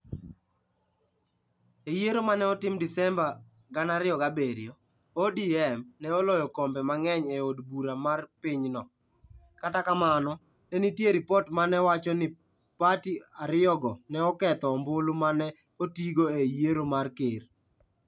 E yiero ma ne otim Desemba 2007, ODM ne oloyo kombe mang'eny e Od Bura mar pinyno, kata kamano, ne nitie ripot ma ne wacho ni pati ariyogo ne oketho ombulu ma ne otigo e yiero mar ker.